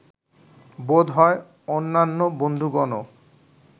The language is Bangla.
বোধ হয়, অন্যান্য বন্ধুগণও